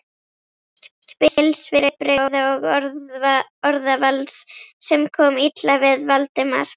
spil svipbrigða og orðavals, sem kom illa við Valdimar.